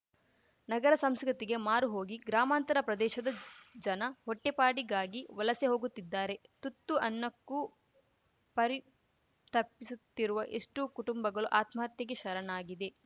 ನಗರ ಸಂಸ್ಕೃತಿಗೆ ಮಾರು ಹೋಗಿ ಗ್ರಾಮಾಂತರ ಪ್ರದೇಶದ ಜನ ಹೊಟ್ಟೆಪಾಡಿಗಾಗಿ ವಲಸೆ ಹೋಗುತ್ತಿದ್ದಾರೆ ತುತ್ತು ಅನ್ನಕ್ಕೂ ಪರಿತಪಿಸುತ್ತಿರುವ ಎಷ್ಟೋ ಕುಟುಂಬಗಲು ಆತ್ಮಹತ್ಯೆಗೆ ಶರಣಾಗಿವೆ